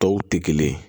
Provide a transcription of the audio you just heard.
Tɔw tɛ kelen ye